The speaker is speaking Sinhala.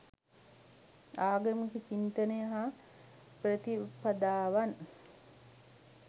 ආගමික චින්තනය හා ප්‍රතිපදාවන්